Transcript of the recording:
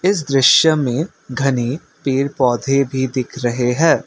इस दृश्य में घनी पेड़ पौधे भी दिख रहे हैं।